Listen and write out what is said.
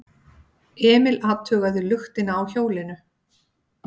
Emil athugaði luktina á hjólinu.